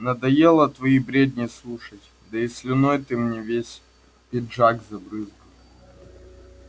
надоело твои бредни слушать да и слюной ты мне весь пиджак забрызгал